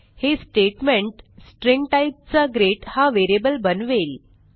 हे statement string टाईपचा greetहा व्हेरिएबल बनवेल